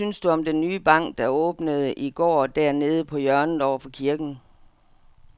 Hvad synes du om den nye bank, der åbnede i går dernede på hjørnet over for kirken?